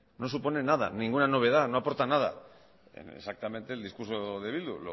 no supone nada ninguna novedad no aporta nada exactamente el discurso de bildu